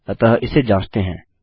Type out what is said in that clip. अतः इसे जाँचते हैं